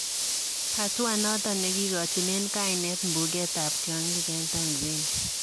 Hatua noton negigochinen kanet mbuget ab tiongig en Tanzania.